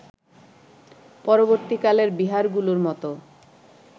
পরবর্তীকালের বিহারগুলোর মতো